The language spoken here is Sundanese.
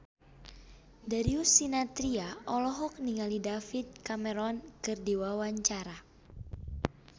Darius Sinathrya olohok ningali David Cameron keur diwawancara